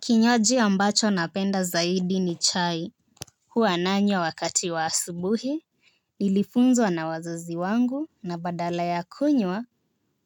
Kinywaji ambacho napenda zaidi ni chai. Huwa nanywa wakati wa asubuhi. Nilifunzwa na wazazi wangu na badala ya kunywa